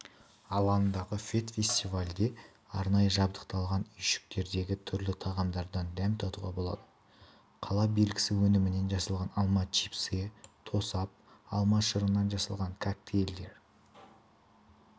алаңындағы фед-фестивальде арнайы жабдықталған үйшіктердегі түрлі тағамдардан дәм татуға болады қала белгісі өнімінен жасалған алма чипсыйы тосап алма шырынан жасалған коктейльдер